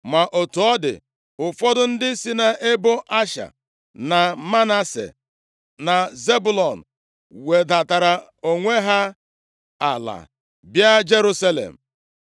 Ma otu ọ dị, ụfọdụ ndị si nʼebo Asha na Manase, na Zebụlọn wedatara onwe ha ala, bịa Jerusalem.